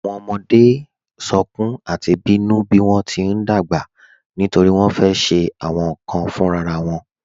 Awọn ọmọde sọ̀kún àti bínu bí wọn ti n dágbà nítorí wọn fẹ́ ṣe awọn nkan fúnrara won